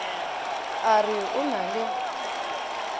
a re o na le